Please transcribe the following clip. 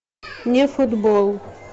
мне футбол